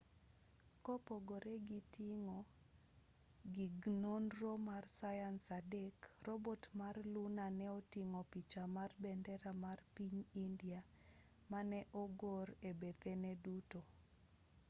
kopogore gi ting'o gig nonro mar sayans adek robot mar luna ne oting'o picha mar bendera mar piny india mane ogor e bethene duto